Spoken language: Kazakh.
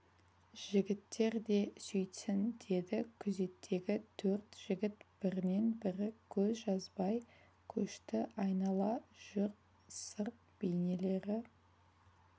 жігіттер де сөйтсін деді күзеттегі төрт жігіт бірінен бірі көз жазбай көшті айнала жүр сырт бейнелері